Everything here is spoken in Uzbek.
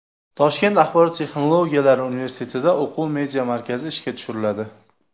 Toshkent axborot texnologiyalari universitetida o‘quv media markazi ishga tushiriladi.